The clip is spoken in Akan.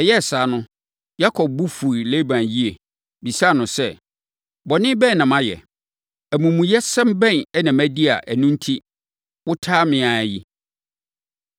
Ɛyɛɛ saa no, Yakob bo fuu Laban yie, bisaa no sɛ, “Bɔne bɛn na mayɛ? Amumuyɛsɛm bɛn na madi a ɛno enti, woataa me ara yi?”